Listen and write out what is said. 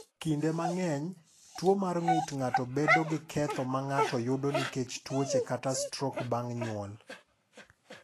"Kinde mang’eny, tuwo mar ng’ut ng’ato bedo gi ketho ma ng’ato yudo nikech tuoche kata stroke bang’ nyuol."